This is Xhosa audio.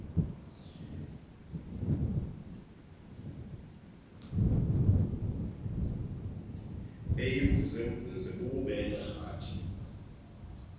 eyimvuzemvuze bububele rathi